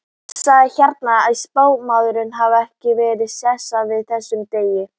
Sagnir herma að spámaður einn hafi varað Sesar við þessum degi.